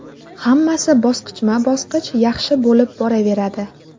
Hammasi bosqichma-bosqich yaxshi bo‘lib boraveradi.